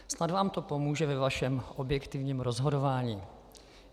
Snad vám to pomůže ve vašem objektivním rozhodování.